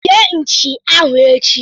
sie Nchi ahụ echi!